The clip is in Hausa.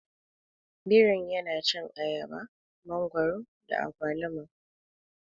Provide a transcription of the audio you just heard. Birin yana cin ayaba, mangwaro da agwaluma.